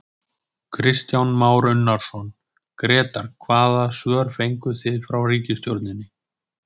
Kristján Már Unnarsson, Grétar hvaða svör fenguð þið frá ríkisstjórninni?